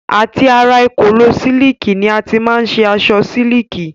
Àti ara èkòló sílìkì ni a ti má n ṣe aṣọ sílìkì.